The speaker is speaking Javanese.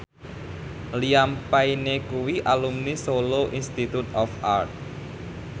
Liam Payne kuwi alumni Solo Institute of Art